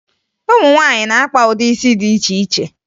Ụmụ nwaanyị na-akpa ụdị isi dị iche iche